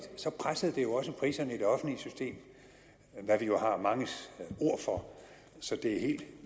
pressede det jo også priserne i det offentlige system hvad vi jo har manges ord for så det er helt